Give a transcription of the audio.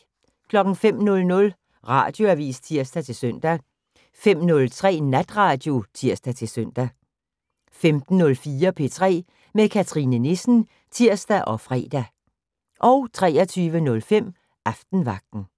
05:00: Radioavis (tir-søn) 05:03: Natradio (tir-søn) 15:04: P3 med Cathrine Nissen (tir og fre) 23:05: Aftenvagten